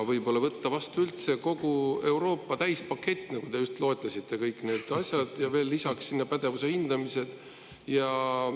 Võib-olla võtta vastu üldse kogu Euroopa täispakett, nagu te just loetlesite, kõik need asjad ja veel lisaks sinna pädevuse hindamised?